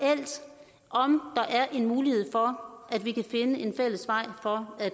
og om der er en mulighed for at vi kan finde en fælles vej for at